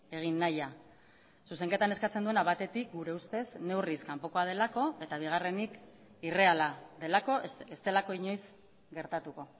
egin nahia zuzenketan eskatzen duena batetik gure ustez neurriz kanpokoa delako eta bigarrenik irreala delako ez delako inoiz gertatuko